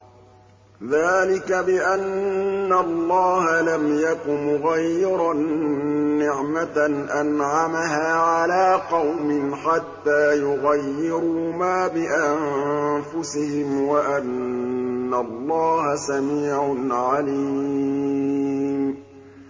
ذَٰلِكَ بِأَنَّ اللَّهَ لَمْ يَكُ مُغَيِّرًا نِّعْمَةً أَنْعَمَهَا عَلَىٰ قَوْمٍ حَتَّىٰ يُغَيِّرُوا مَا بِأَنفُسِهِمْ ۙ وَأَنَّ اللَّهَ سَمِيعٌ عَلِيمٌ